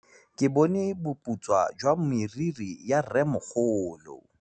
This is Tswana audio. Ke bone boputswa jwa meriri ya rrêmogolo.